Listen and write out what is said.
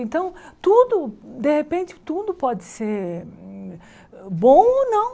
Então, tudo, de repente, tudo pode ser bom ou não.